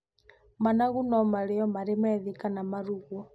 Managu no marĩyo marĩ methĩ kana marugwo.